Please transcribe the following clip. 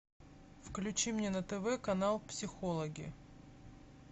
включи мне на тв канал психологи